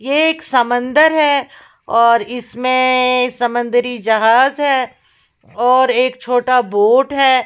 ये एक समंदर है और इसमेंएए समंदरी जहाज है और एक छोटा बोट है।